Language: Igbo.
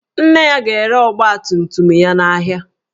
Nne ya ga-ere ọgbatumtum ya n'ahịa